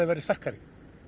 verði sterkari